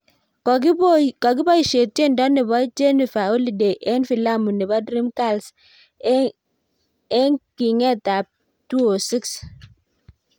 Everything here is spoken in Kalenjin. kokiboisee tiendo nebo Jennifer holiday eng filamu nebo "Dream girls" e eng kinget ab 2006